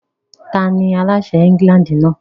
Tani aláṣẹ England náà?